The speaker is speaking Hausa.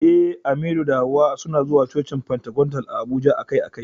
Eh, Aminu da Hawwa suna zuwa cocin Pentecostal a Abuja akai-akai.